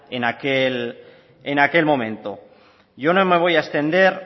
en aquel momento yo no me voy a extender